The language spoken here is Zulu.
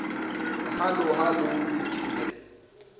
hallo hallo luthule